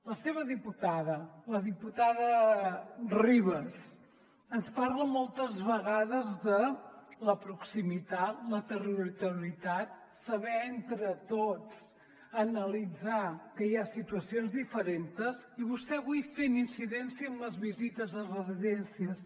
la seva diputada la diputada ribas ens parla moltes vegades de la proximitat la territorialitat saber entre tots analitzar que hi ha situacions diferentes i vostè avui fent incidència en les visites a residències